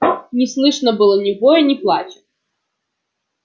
не слышно было ни воя ни плача